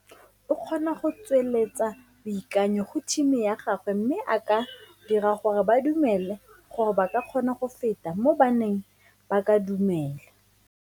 O kgona go tsweletsa boikanyo go thimi ya gagwe mme a ka dira gore ba dumele gore ba ka kgona go feta mo ba neng ba ka dumela.